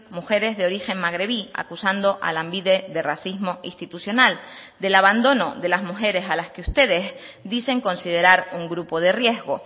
mujeres de origen magrebí acusando a lanbide de racismo institucional del abandono de las mujeres a las que ustedes dicen considerar un grupo de riesgo